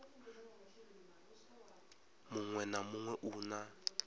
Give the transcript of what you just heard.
muṅwe na muṅwe u na